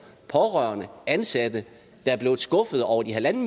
pårørende og ansatte der er blevet skuffede over de en